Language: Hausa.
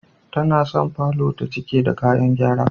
Tana son falor ta cike da kayan gyara.